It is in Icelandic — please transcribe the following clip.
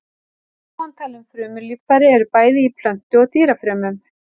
Ofantalin frumulíffæri eru bæði í plöntu- og dýrafrumum.